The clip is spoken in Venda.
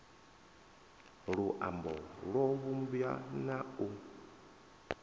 luambo lwo vhumbwa na u